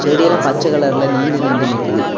செடி எல்லாம் பச்ச கலர்ல நீண்டு நீண்டு நிக்குது.